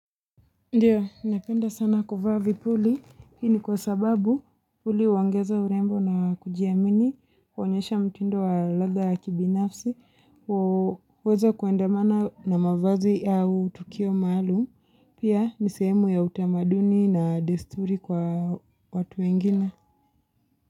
Ndio, napenda sana kuvaa vipuli, hii ni kwa sababu vipuli huongeza urembo na kujiamini, huonyesha mtindo wa ladha ya kibinafsi, huweza kuandamana na mavazi au tukio maalum, pia ni sehemu ya utamaduni na desturi kwa watu wengine.